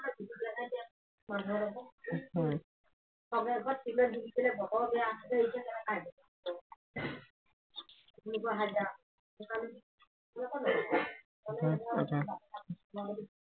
সাতাইশ আঠাইশ